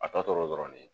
A tɔ tora dɔrɔn ne